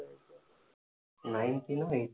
nineteen eight